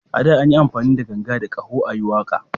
A da, an yi amfani da ganga da ƙaho a yi waƙa